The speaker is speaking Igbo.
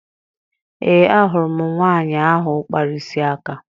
Ee, ahụrụ m nwaanyị ahụ kpara isi aka